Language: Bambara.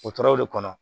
O tora o de kɔnɔ